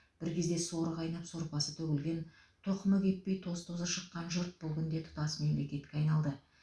бір кезде соры қайнап сорпасы төгілген тоқымы кеппей тоз тозы шыққан жұрт бұл күнде тұтас мемлекетке айналды